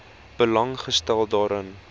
belang gestel daarin